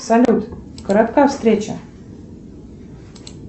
салют коротка встреча